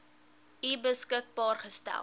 u beskikbaar gestel